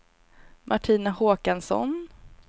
Martina Håkansson